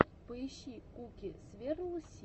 поищи куки сверл си